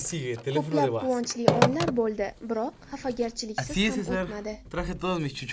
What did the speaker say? Ko‘plab quvonchli onlar bo‘ldi, biroq xafagarchiliksiz ham o‘tmadi.